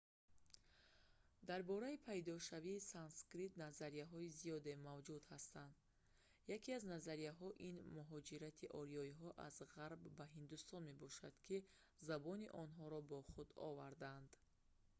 дар бораи пайдошавии санскрит назарияҳои зиёде мавҷуд ҳастанд яке аз назарияҳо ин муҳоҷирати ориёиҳо аз ғарб ба ҳиндустон мебошад ки забони онҳоро бо худ овардаанд